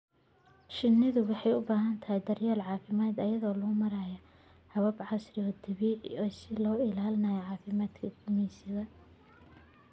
Shinnidu waxay u baahan tahay daryeel caafimaad iyadoo loo marayo habab casri ah oo dabiici ah si loo ilaaliyo caafimaadka gumeysiga.